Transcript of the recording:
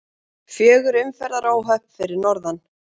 Fjögur umferðaróhöpp fyrir norðan